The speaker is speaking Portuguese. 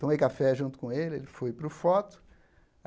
Tomei café junto com ele, ele foi para o foto.